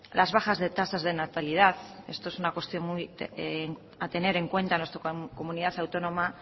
las bajas de tasas de natalidad esto es una cuestión a tener en cuenta en nuestra comunidad autónoma